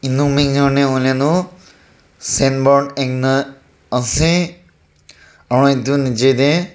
signboard ekta ase aru edu nichae tae.